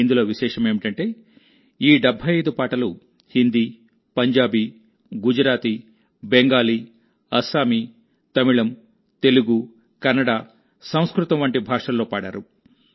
ఇందులో విశేషమేమిటంటేఈ 75 పాటలు హిందీ పంజాబీ గుజరాతీ బెంగాలీ అస్సామీ తమిళం తెలుగు కన్నడ సంస్కృతం వంటి భాషల్లో పాడారు